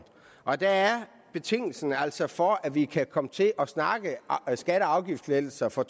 og der er betingelsen altså for at vi kan komme til at snakke skatte og afgiftslettelser for